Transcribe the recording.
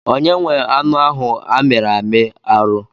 Onye nwe anụ ahụ a miri amị arụ?